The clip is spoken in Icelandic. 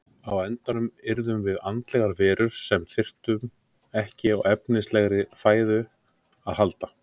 Á endanum yrðum við andlegar verur sem þyrftu ekki á efnislegri fæðu að halda.